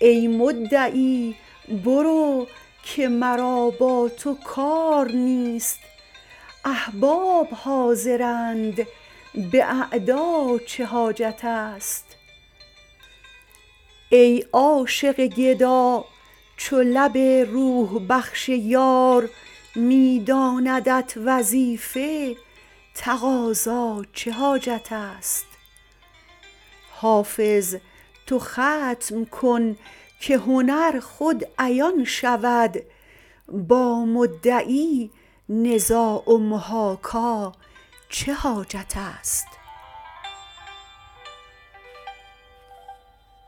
ای مدعی برو که مرا با تو کار نیست احباب حاضرند به اعدا چه حاجت است ای عاشق گدا چو لب روح بخش یار می داندت وظیفه تقاضا چه حاجت است حافظ تو ختم کن که هنر خود عیان شود با مدعی نزاع و محاکا چه حاجت است